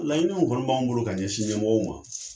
Laɲini min kɔni b'an bolo, ka ɲɛsin ɲɛmɔgɔ ma